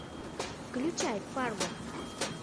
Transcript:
включай фарго